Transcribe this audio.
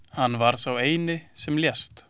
Hann var sá eini sem lést.